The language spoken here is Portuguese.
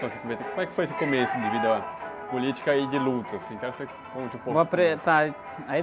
Como foi esse começo de vida política e de luta? Assim, quero que você conte um pouquinho, assim.ou apre, tá, e... Aí...